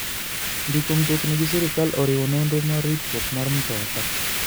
Ndiko mtokni gi sirkal oriwo nonro mar ritruok mar mtoka.